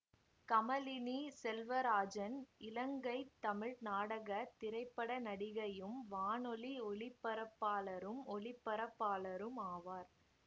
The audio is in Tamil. கமலினி செல்வராஜன் இலங்கை தமிழ் நாடக திரைப்பட நடிகையும் வானொலி ஒலிபரப்பாளரும் ஒளிபரப்பாளரும் ஆவார்